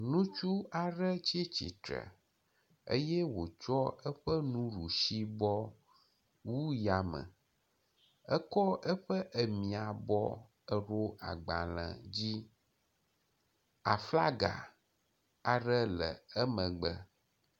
Ŋutsu aɖe tsi tsitre eye wotsɔ eƒe nuɖusibɔ wu ya me, etsɔ eƒe emiabɔ ɖo agbalẽ dzi, aflaga aɖe le emegbe.